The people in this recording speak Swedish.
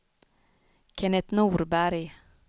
Kennet Norberg